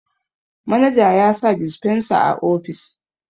managa ya sa disfensa a ofis